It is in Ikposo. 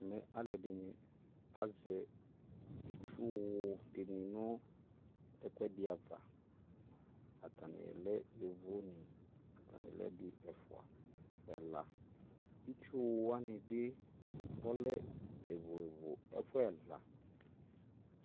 Mɛ alɛde ne azɛ itsuwu de ne noɛkudɛ ava, Atane lɛ yovo neAtane lɛ ɛde, ɛfua, ɛlaItsuwu wane ne ɔlɛ evo evo ɛfuɛ ɛva